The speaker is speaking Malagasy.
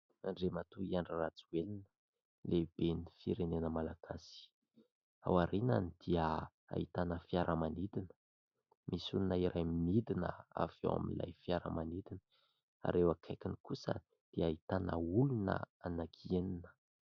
Andriamatoa Andry Rajoelina, lehiben'ny firenena malagasy. Aoriany dia ahitana fiaramanidina ; misy olona iray midina avy ao amin'ilay fiaramanidina ary eo akaikiny kosa dia ahitana olona anankienina.